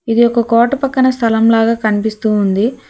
ఇది ఒక కోట పక్కన స్థలం లాగా కనిపిస్తూ ఉంది.